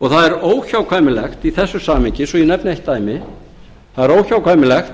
og það er óhjákvæmilega í þessu samhengi svo ég nefni eitt dæmi það er óhjákvæmilega